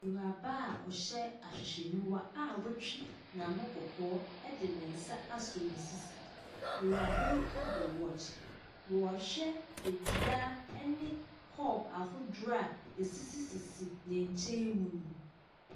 Ewuraba ɔhyɛ ahwehwɛenyiwa a wetwi n'ano kɔkɔɔ edi ne nsa asɔ nesisi. Ewurabayi ɛbɔ wɔɔkye. Wɔ hwɛ adua ɛne kɔɔp ahodoɔ asisi n'kyɛm mu nu.